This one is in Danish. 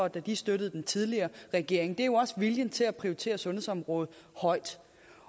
da de støttede den tidligere regering det er jo også viljen til at prioritere sundhedsområdet højt